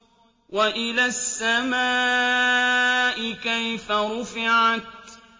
وَإِلَى السَّمَاءِ كَيْفَ رُفِعَتْ